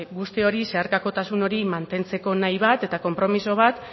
guzti hori zeharkakotasun hori mantentzeko nahi bat eta konpromiso bat